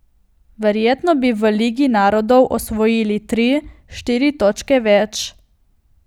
Verjetno bi v ligi narodov osvojil tri, štiri točke več.